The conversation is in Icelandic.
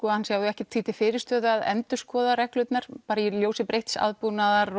hann sjái ekkert því til fyrirstöðu að endurskoða reglurnar í ljósi breytts aðbúnaðar